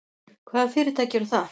Hvaða fyrirtæki eru það?